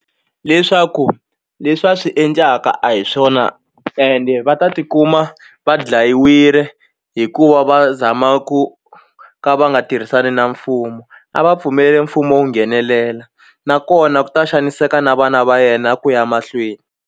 Leswaku leswi va swi endlaka a hi swona ende va ta ti kuma va dlayiwile hikuva va zama ku ka va nga tirhisani na mfumo a va pfumeleli mfumo wu nghenelela nakona ku ta xaniseka na vana va yena ku ya mahlweni.